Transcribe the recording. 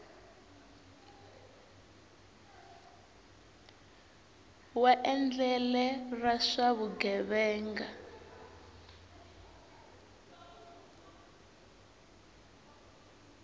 wa endlele ra swa vugevenga